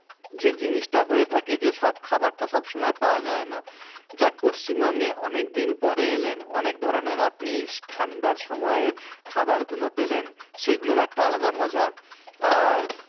যে জিনিসটা হয়ে থাকে যে সব খাবারটা সব সময় পাওয়া যায় না যাক পশ্চিমবঙ্গে অনেক দিন পরে এলেন অনেক ধরনের আপনি ঠান্ডার সময়ের খাবারগুলো পেলেন সেগুলোর একটা আলাদা মজা আর